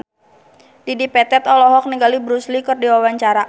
Dedi Petet olohok ningali Bruce Lee keur diwawancara